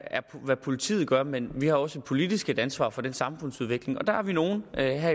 hvad politiet gør men vi har også politisk et ansvar for den samfundsudvikling og der er vi nogle